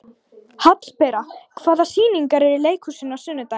Hallbera, hvaða sýningar eru í leikhúsinu á sunnudaginn?